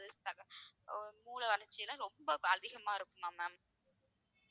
அஹ் மூளை வளர்ச்சி எல்லாம் ரொம்ப அதிகமா இருக்குமாம் ma'am